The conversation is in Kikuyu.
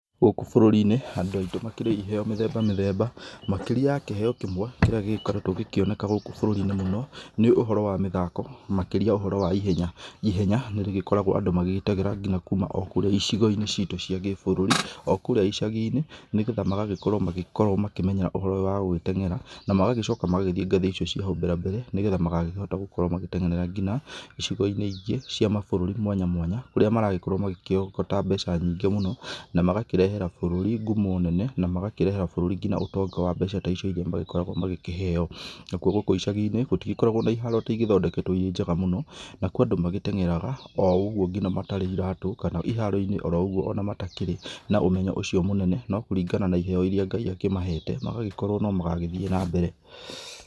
Gũkũ bũrũri-inĩ andũ aitũ makĩrĩ iheo mĩthemba mĩthemba makĩrĩa ya kĩheo kĩmwe kĩrĩa gĩkoretwo gĩkĩoneka gũkũ bũrũri-inĩ mũno nĩ ũhoro wa mĩthako makĩrĩa ũhoro wa ihenya, ihenya nĩ rĩgĩkoragwo andũ magĩgĩtegera o kũma kũrĩa icigo-inĩ citũ cia gĩbũrũri o kũrĩa icagi-inĩ nĩgetha magagĩkorwo magĩkĩmenya ũhoro ũyũ wa gũgĩtenyera na magagĩcoka magagĩthiĩ ngathĩ icio cia haũ mbere nĩgetha magakĩhota gũkorwo magĩtenyerera nginya icigo-inĩ ingĩ cia mabũrũri mwanya mwanya kũrĩa maragĩkorwo makĩrogota mbeca nyingĩ mũno namagakĩrehera bũrũrĩ ngũmo nene na magakĩrehere bũrũri nginya ũtonga wa mbeca ta icio magĩkoragwo makĩheo, nakũo gũkũ icagi-inĩ gũtĩgĩkoragwo na iharo atĩ igĩthondeketwo irĩ njega mũno na kwĩ andũ magĩtenyeraga o ũgũo matarĩ nginya iratũ kana iharo-inĩ o roũgũo matakĩrĩ na ũmenyo ũcio mũnene no kũrigana na iheo irĩa Ngai akĩmahete magagĩkorwo no magagĩthiĩ na mbere.